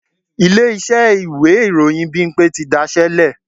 Ilé-iṣẹ́ ìwé ìròyìn Bímpé ti daṣẹ́ lẹ̀